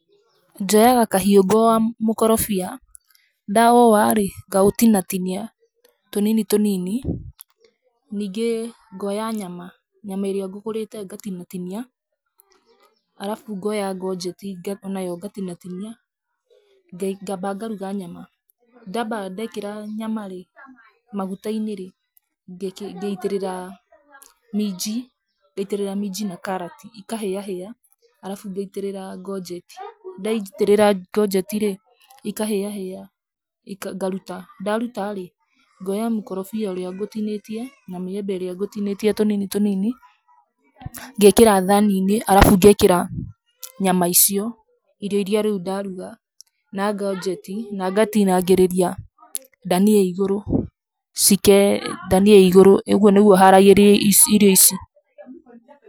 Njoyaga kahiũ ngaũwa mũkorobia. Ndaũũwa rĩ, ngaũtinatinia tũnini tũnini. Ningĩ ngoya nyama, nyama ĩrĩa ngũgũrĩte ngatinatinia arabu ngoya codget, o nayo ngatinatinia, ngaamba ngaruga nyama. Ndaamba ndeekĩra nyama rĩ, maguta-inĩ rĩ, ngaitĩrĩrĩra minji. Ngaitĩrĩra minji na karati ikahĩahĩa arabu ngaitĩrira codget. Ndaitĩrĩra codget rĩ, ikahĩahĩa, ngaruta. Ndaruta rĩ, ngoya mĩkorobia ĩrĩa ngũtinĩtie na mĩembe ĩrĩa ngũtinĩtie tũnini tũnini, ngeekĩra thaani-inĩ arabu ngeekĩra nyama icio, irio iria rĩu ndaruga, na codget na ngatinangĩrĩria dania igũrũ, dania igũrũ. Ũguo nĩguo haragĩria ici irio ici.